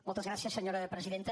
moltes gràcies senyora presidenta